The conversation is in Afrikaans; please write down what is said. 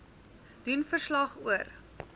doen verslag oor